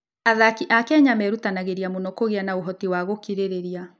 Athaki a Kenya merutanagĩria mũno kũgĩa na ũhoti wa gũkirĩrĩria.